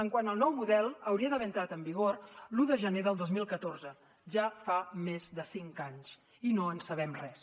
quant al nou model hauria d’haver entrat en vigor l’un de gener del dos mil catorze ja fa més de cinc anys i no en sabem res